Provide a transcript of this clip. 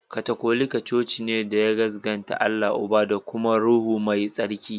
Katolika coci ne da ya gaskanta da Allah Uba, da da kuma Ruhu Mai Tsarki.